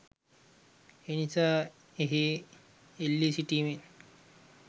එනිසා එහි එල්ලී සිටිමින්